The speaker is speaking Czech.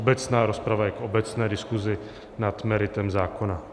Obecná rozprava je k obecné diskusi nad meritem zákona.